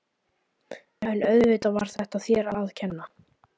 En auðvitað var þetta allt þér að kenna.